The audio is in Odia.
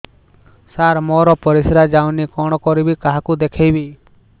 ସାର ମୋର ପରିସ୍ରା ଯାଉନି କଣ କରିବି କାହାକୁ ଦେଖେଇବି